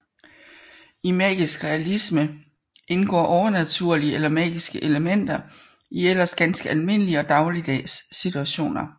I magisk realisme indgår overnaturlige eller magiske elementer i ellers ganske almindelige og dagligdags situationer